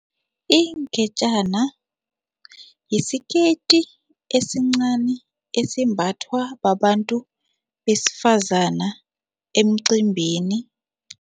Ingetjana yisiketi esincani esimbathwa babantu besifazana emcimbini.